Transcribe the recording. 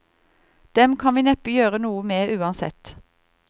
Dem kan vi neppe gjøre noe med uansett.